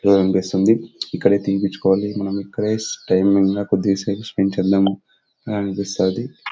పిలవాలనిపిస్తుంది ఇక్కడే తీపిచ్చుకోవాలి. మనం ఇక్కడే క్షేమంగా కొద్దిగా స్పెండ్ చేదాం అనిపిస్తాది.